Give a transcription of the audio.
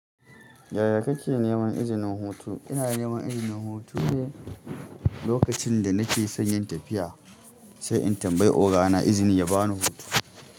Yaya kake neman izinin hutu? Ina neman izinin hutu ne lokacin da nake son yin tafiya, sai in tambayi ogana izini ya bani hutu.